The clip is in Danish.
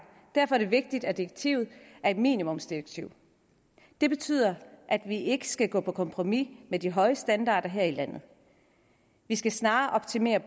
derfor er det vigtigt at direktivet er et minimumsdirektiv det betyder at vi ikke skal gå på kompromis med de høje standarder her i landet vi skal snarere optimere